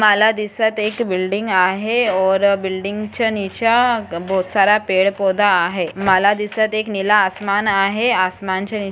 माला दिसत एक बिल्डिंग आहे और बिल्डिंग च्या नीच्या बहुत सारा पेड़-पौधा आहे माला दिसत एक नीला आसमान आहे आसमानच्या--